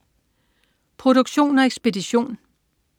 Produktion og ekspedition: